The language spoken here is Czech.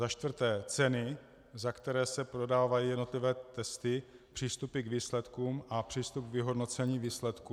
Za čtvrté, ceny, za které se prodávají jednotlivé testy, přístupy k výsledkům a přístup k vyhodnocení výsledků?